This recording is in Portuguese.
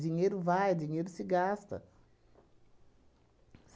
vai, dinheiro se gasta.